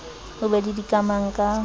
o be le dikamang ka